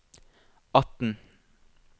atten